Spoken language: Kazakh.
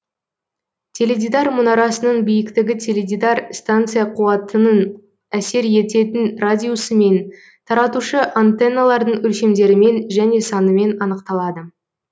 теледидар мұнарасының биіктігі теледидар станция қуатының әсер ететін радиусымен таратушы антенналардың өлшемдерімен және санымен анықталады